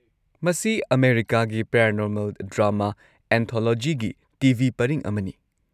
ꯃꯁꯤ ꯑꯃꯦꯔꯤꯀꯥꯒꯤ ꯄꯦꯔꯥꯅꯣꯔꯃꯦꯜ ꯗ꯭ꯔꯥꯃꯥ ꯑꯦꯟꯊꯣꯂꯣꯖꯤꯒꯤ ꯇꯤ.ꯚꯤ. ꯄꯔꯤꯡ ꯑꯃꯅꯤ꯫